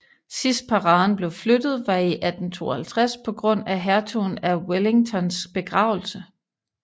Sidst paraden blev flyttet var i 1852 på grund af hertugen af Wellingtons begravelse